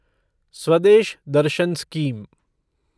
Swadesh Darshan scheme